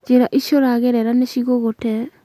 njĩra icio ũragerera nĩ ciigũgũte.